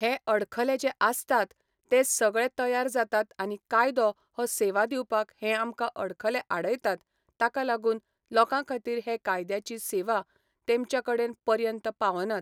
हे अडखले जे आसतात ते सगळे तयार जातात आनी कायदो हो सेवा दिवपाक हें आमकां अडखले आडयतात ताका लागून लोकां खातीर हे कायद्याची सेवा तेमच्या कडेन पर्यंत पावनात.